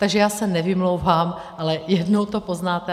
Takže já se nevymlouvám, ale jednou to poznáte.